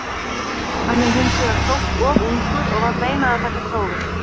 Innkirtlar framleiða hormón sem þeir svo veita beint út í blóðið.